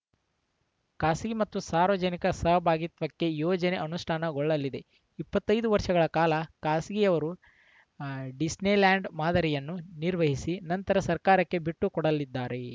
ಖಾಸಗಿ ಮತ್ತು ಸಾರ್ವಜನಿಕ ಸಹಭಾಗಿತ್ವಕ್ಕೆ ಯೋಜನೆ ಅನುಷ್ಠಾನಗೊಳ್ಳಲಿದೆ ಇಪ್ಪತ್ತೈ ದು ವರ್ಷಗಳ ಕಾಲ ಖಾಸಗಿಯವರು ಡಿಸ್ನಿಲ್ಯಾಂಡ್‌ ಮಾದರಿಯನ್ನು ನಿರ್ವಹಿಸಿ ನಂತರ ಸರ್ಕಾರಕ್ಕೆ ಬಿಟ್ಟುಕೊಡಲಿದ್ದಾರೆ